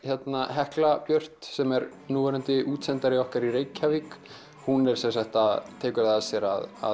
Hekla Björt sem er núverandi útsendari okkar í Reykjavík hún tekur að sér að